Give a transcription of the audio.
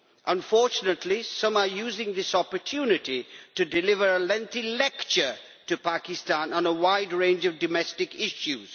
Unfortunately, some are using this opportunity to deliver a lengthy lecture to Pakistan on a wide range of domestic issues.